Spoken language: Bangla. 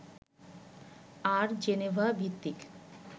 আর জেনেভা-ভিত্তিক